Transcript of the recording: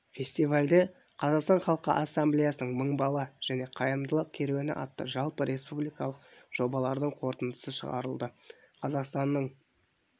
фестивальде қазақстан халқы ассамблеясының мың бала және қайырымдылық керуені атты жалпы республикалық жобалардың қорытындысы шығарылды қазақстанның